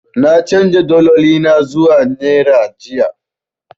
Na canja daloli na zuwa naira jiya.